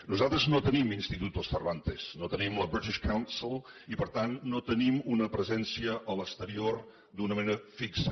nosaltres no tenim institutos cervantes no tenim la british council i per tant no tenim una presència a l’exterior d’una manera fixa